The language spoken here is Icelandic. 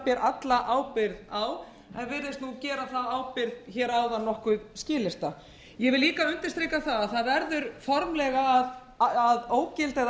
ber alla ábyrgð á en virðist nú gera þá ábyrgð áðan nokkuð skilyrta ég vil líka undirstrika að það verður formlega að ógilda eða